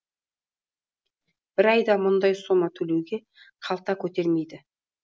бір айда мұндай сома төлеуге қалта көтермейді